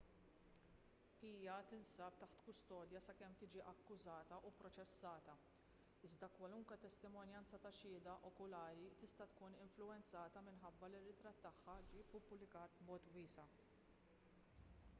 hija tinsab taħt kustodja sakemm tiġi akkużata u pproċessata iżda kwalunkwe testimonjanza ta' xhieda okulari tista' tkun influwenzata minħabba li ritratt tagħha ġie ppubblikata b'mod wiesa''